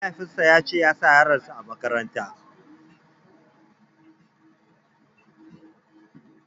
Mahaifin sa yace ya sa yaron sa a makaratan